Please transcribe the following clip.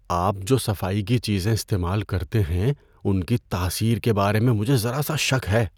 آپ جو صفائی کی چیزیں استعمال کرتے ہیں ان کی تاثیر کے بارے میں مجھے ذرا سا شک ہے۔